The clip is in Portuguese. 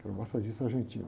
Que era um massagista argentino.